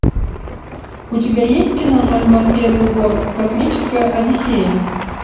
у тебя есть кино ноль ноль первый год космическая одиссея